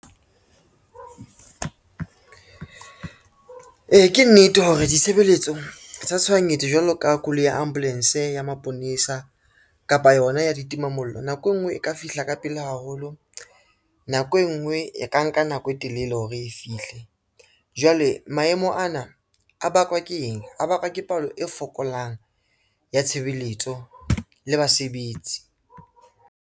Ee, ke nnete hore ditshebeletso tsa tshohanyetso jwalo ka koloi ya ambulance, ya maponesa kapa yona ya ditimamollo, nako e ngwe e ka fihla ka pele haholo, nako e ngwe e ka nka nako e telele hore e fihle. Jwale maemo ana a bakwa ke eng, a bakwa ke palo e fokolang ya tshebeletso le basebetsi.